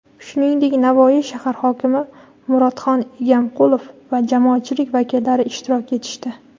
shuningdek Navoiy shahar hokimi Muratxan Egamqulov va jamoatchilik vakillari ishtirok etishdi.